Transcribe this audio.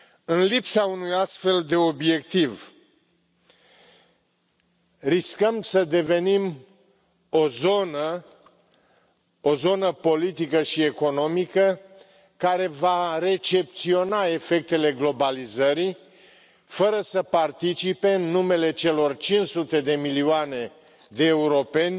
În lipsa unui astfel de obiectiv, riscăm să devenim o zonă politică și economică care va recepționa efectele globalizării, fără să participe, în numele celor 500 de milioane de europeni,